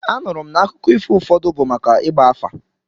Anụrụ m n'akụkọ ifo ụfọdụ bụ maka ịgba afa.